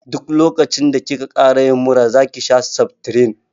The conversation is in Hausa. Duk lokacin da ki ka ƙara yin mura zaki sha seftirin